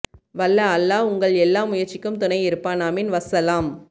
வல்ல அல்லாஹ் உங்கள் எல்லா முயற்சிக்கும் துணை இருப்பான் அமீன் வஸ்ஸலாம்